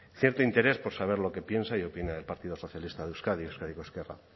cierto interés por saber lo que piensa y opina el partido socialista de euskadi euskadiko ezkerra